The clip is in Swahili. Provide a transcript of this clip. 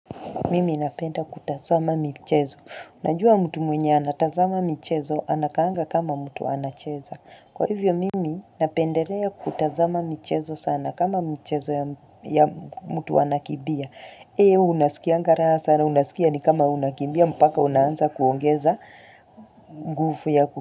Mimi napenda kutazama michezo. Najua mtu mwenye anatazama michezo, anakaanga kama mtu anacheza. Kwa hivyo, Mimi napendelea kutazama michezo sana kama mchezo ya mtu anakimbia. Heo, unasikianga raha sana, unasikia ni kama unakimbia, mpaka unaanza kuongeza nguvu ya ku.